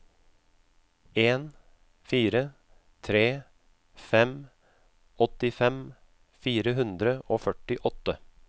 en fire tre fem åttifem fire hundre og førtiåtte